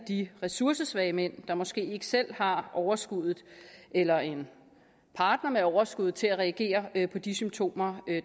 de ressourcesvage mænd der måske ikke selv har overskud eller en partner med overskud til at reagere på de symptomer